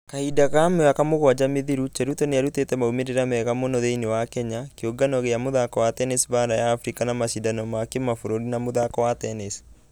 Kahinda ga mĩaka mũgwaja mĩthiru , cheruto nĩarutete maumĩrĩra mega mũnũ thĩinĩ wa kenya, kĩũngano gĩa mũthako wa tennis baara ya africa na mashidano ma kĩmabũrũri ma mũthako wa tennis.